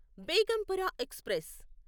Begampura express